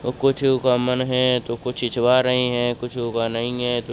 तो कुछ गमन है तो कुछ छिछवा रही हैं कुछ उगा नहीं है तो --